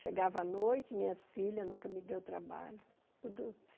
Chegava a noite, minhas filhas nunca me deu trabalho. Tudo